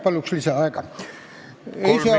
Palun lisaaega!